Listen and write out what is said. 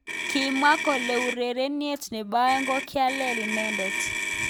Kimwaa kole urenindet nebo aeng kokialei inendet.